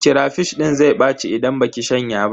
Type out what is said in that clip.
Karafish din zai ɓaci idan baki shanya ba.